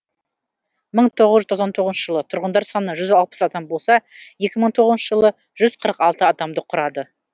мың тоғыз жүз тоқсан тоғызыншы жылы тұрғындар саны жүз алпыс адам болса екі мың тоғызыншы жылы жүз қырық алты адамды құрады